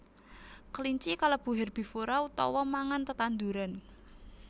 Kelinci kalebu herbivora utawa mangan tetanduran